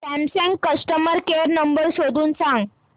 Samsung customer care number शोधून सांग